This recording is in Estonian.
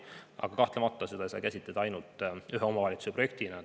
Aga kahtlemata ei saa seda käsitleda ainult ühe omavalitsuse projektina.